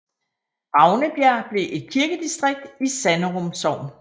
Ravnebjerg blev et kirkedistrikt i Sanderum Sogn